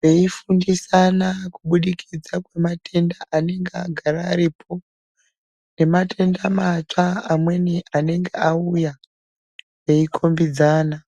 veifundisana kubudikidza kwematenda anenga agara aripo nematenda matsva amweni anenge auya, veikombidzana.